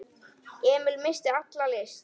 Emil missti alla lyst.